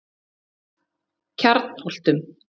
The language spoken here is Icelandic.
Kjarnholtum